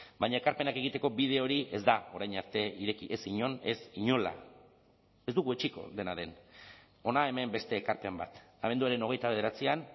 baina ekarpenak egiteko bide hori ez da orain arte ireki ez inon ez inola ez dugu etsiko dena den hona hemen beste ekarpen bat abenduaren hogeita bederatzian